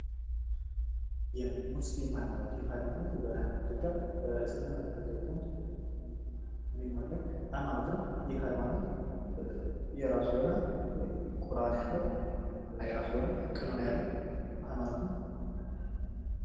የሙስሊም ሃይማኖት ፦ ይህ ሃይማኖት በኢትዮጵያ በእስልምና ተከታዮች ዘንድ የሚመለክ ሃይማኖት ነው። ይህ ሃይማኖት የራሱ የሆነ ቁርአን ያለው እና የራሱ የሆነ ቀኖና ያለው ሃይማኖት ነው።